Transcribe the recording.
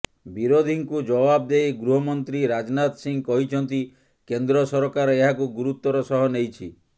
ବିରୋଧୀଙ୍କୁ ଜବାବ ଦେଇ ଗୃହମନ୍ତ୍ରୀ ରାଜନାଥ ସିଂହ କହିଛନ୍ତି କେନ୍ଦ୍ର ସରକାର ଏହାକୁ ଗୁରୁତ୍ୱର ସହ ନେଇଛି